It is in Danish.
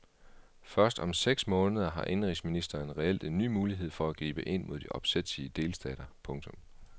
Først om seks måneder har indenrigsministeren reelt en ny mulighed for at gribe ind mod de opsætsige delstater. punktum